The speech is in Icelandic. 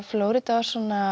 Flórída var svona